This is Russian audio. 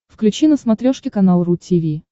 включи на смотрешке канал ру ти ви